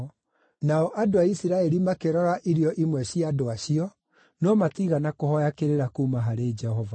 Nao andũ a Isiraeli makĩrora irio imwe cia andũ acio, no matiigana kũhooya kĩrĩra kuuma harĩ Jehova.